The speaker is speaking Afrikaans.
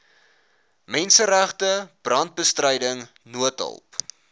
menseregte brandbestryding noodhulp